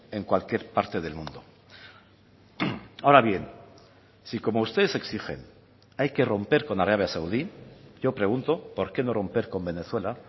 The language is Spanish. en cualquier parte del mundo ahora bien si como ustedes exigen hay que romper con arabia saudí yo pregunto por qué no romper con venezuela